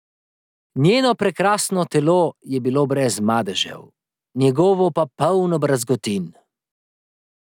Njeno prekrasno telo je bilo brez madežev, njegovo pa polno brazgotin.